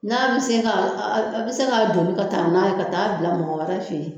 N'a bi se ka , a bi se ka donni ka taa n'a ye ka taa bila mɔgɔ wɛrɛ fe yen.